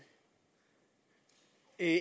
er